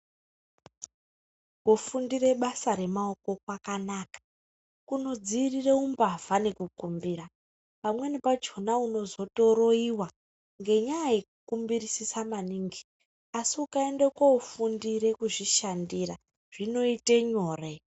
Kufundire basa remaoko kwakanaka kunodziirire umbavha nekukumbira. Pamweni pachona unozotoroyiwa ngenyaa yekukumbirisisa maningi, asi ukaende kofundire kuzvishandira zvinoite nyore.